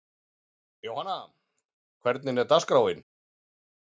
Jóhanna, hvernig er dagskráin?